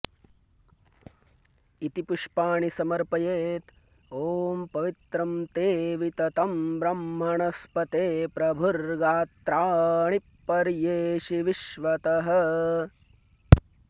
इति पुष्पाणि समर्पयेत् ॐ पवित्रं॑ ते॒ वित॑तं ब्रह्मणस्पते प्र॒भुर्गात्रा॑णि॒ पर्ये॑षि विश्वतः॑